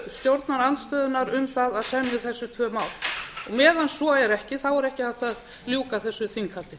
stjórnarandstöðunnar um það að semja um þessi tvö mál meðan svo er ekki er ekki hægt að ljúka þessu þinghaldi